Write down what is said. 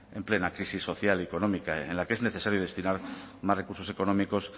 en plena crisis social y económica en la que es necesario destinar más recursos económicos